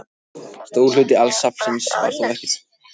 Stór hluti safnsins var þó eftir þegar logarnir sleiktu hillurnar.